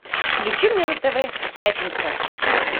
включи мне на тв пятница